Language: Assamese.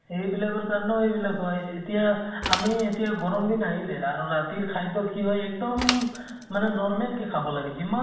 সেই বিলাকৰ কাৰণেও এই বিলাক হয়। এতিয়া আমি এতিয়া গৰম দিন আহিলে আৰু ৰাতিৰ খাদ্য় কি হয় এক্দম normal কে খাব লাগে। যিমান